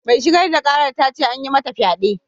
Mai shigar da karar ta ce an yi mata fyade.